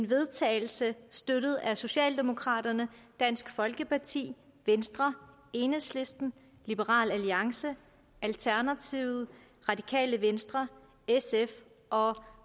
vedtagelse støttet af socialdemokraterne dansk folkeparti venstre enhedslisten liberal alliance alternativet radikale venstre sf og